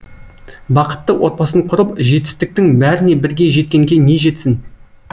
бақытты отбасын құрып жетістіктің бәріне бірге жеткенге не жетсін